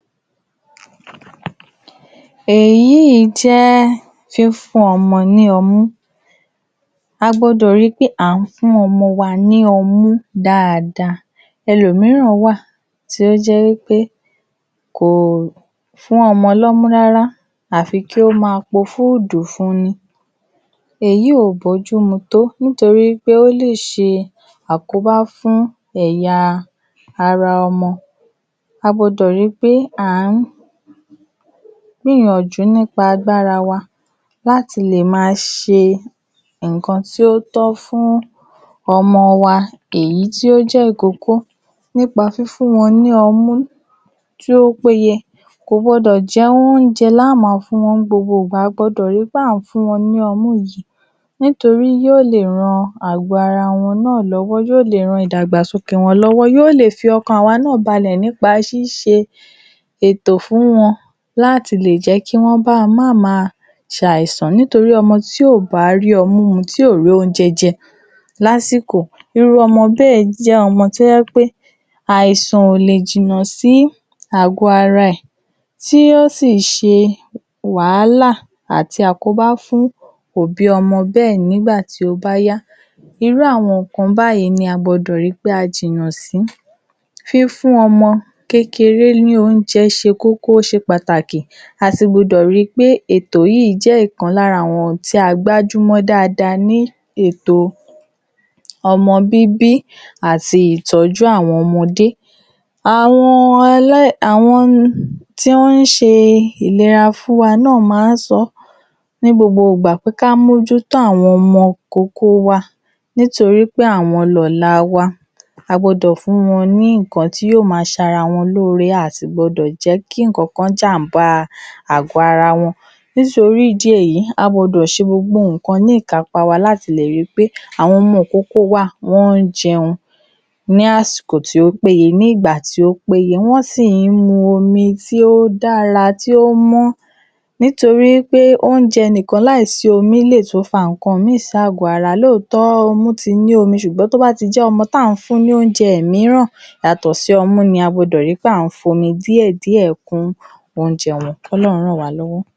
Èyí ì jé̩ fífún o̩mo̩ ní o̩mú A gbo̩dò̩ ri pé à ń fún o̩mo̩ wa ní o̩mú dáadáa. E̩lòmíràn wà tí ó jé̩ wípé kò fún o̩mo̩ l’ó̩mú rárá àfi kó máa po fúúdù fun ni. Èyí ò bójú mu tó nítorí pé ó lè s̩e àkóbá fún è̩yaa ara o̩mo̩ Agbo̩dò̩ ri pé à ń gbíyànjú nípa agbára wa láti lè máa s̩e ǹkan tí ó tó̩ fún o̩mo̩ wa èyí tó jé̩ ìkókó nípa fífún wo̩n ní o̩mú tí ó péye Kò gbo̩dò̩ je̩ oúnje̩ la ó máa fún wo̩n ní gbogbo ìgbà, a gbo̩dò̩ ri pé à ń fún wo̩n ní o̩mú yí. Nítorí yó lè ran àgó̩ ara wo̩n náà ló̩wó̩, yó lè ran ìdàgbàsókè wo̩n ló̩wó̩, yó lè fi o̩kàn àwa náà balè̩ nípa s̩ís̩e ètò fún wo̩n láti lè jé̩ kí wó̩n bá má máa sàìsàn, nítorí o̩mo̩ tí ò bá rí o̩mú mu, tí ò rí oúnje̩ je̩ lásìkò irú o̩mo̩ bé̩è̩ jé o̩mo̩ tó jé̩ pé̩ àìsàn ò lè jìnnà sí àgó̩ ara è̩ tí ó sì s̩e wàhálà àti àkóbá fún òbí o̩mo̩ bé̩è̩ nígbà tí ó bá yá Irú àwo̩n ǹkan báyìí ni a gbo̩dò̩ ri pé a jìnnà sí. Fífún o̩mo̩ kékeré ní oúnje̩ s̩e kókó, ó s̩e pàtàkì. ètò yí jé̩ ìkan lára àwo̩n tí a gbájú mó̩ dáadáa ní ètò o̩mo̩ bíbí àti ìtó̩jú àwo̩n o̩mo̩dé. Àwo̩n e̩lé̩-, àwo̩n tí wó̩n ń s̩e ìlera fún wa náà máa ń so̩ ní gbogbo ìgbà pé ká mójú tó àwo̩n ìkókó wa nítorí pé àwo̩n lò̩la wa a gbo̩dò̩ fún wo̩n ǹkan tí yó máa sara wo̩n lóore, a à sì gbo̩dò̩ je̩ kí ǹkankan jám̀bá ara wo̩n. Nítorí ìdí èyí, a gbo̩dò s̩e gbogbo nǹkan ní ìkápá wa láti lè ri pé àwo̩n o̩mo̩ ìkókó wa wo̩n ń je̩un. ní àsìkò tí ó péye ní àsìkò tí ó péye, wó̩n sì ń mu omi tí ó dára tí ó mó̩, nítorí pé, oúnje̩ nìkan láìsí omi lè tún fa ǹkan mìín sí àgó araa, lóotó̩ o̩tí ti ní omi, sùgbó̩n tó bá ti jé̩ o̩mo̩ tá ń fún ní oúnje̩ míràn yàtò̩ sí o̩mú ni a gbudò̩ ri pé à ń fi omi díè̩díè̩ kun oúnje̩ wo̩n. K’Ó̩lo̩run ràn wá lówó̩.